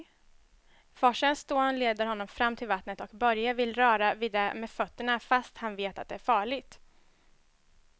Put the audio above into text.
Forsens dån leder honom fram till vattnet och Börje vill röra vid det med fötterna, fast han vet att det är farligt.